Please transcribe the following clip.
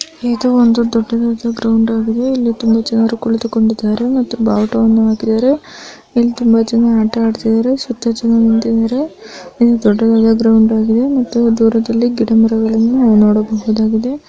ಇದು ಒಂದು ದೊಡ್ಡದಾದ ಗ್ರೌಂಡ್ ಆಗಿದೆ ಇಲ್ಲಿ ತುಂಬಾ ಜನರು ಕುಳಿತುಕೊಂಡಿದ್ದಾರೆ ಮತ್ತು ಬಾವುಟವನ್ನು ಹಾಕಿದ್ದಾರೆ ಇಲ್ಲಿ ತುಂಬಾ ಜನ ಆಟ ಆಡತ್ತಿದ್ದಾರೆ ಸುತ್ತಲೂ ಜನ ಇದ್ದಾರೆ ಹಾಗೂ ದೂರದಲ್ಲಿ ಗಿಡ ಮರಗಳನ್ನು ಗಳನ್ನು ನೋಡಬಹುದಾಗಿದೆ.